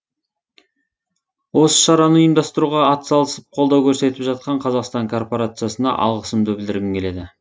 осы шараны ұйымдастыруға атсалысып колдау көрсетіп жатқан қазақстан корпорациясына алғысымды білдіргім келеді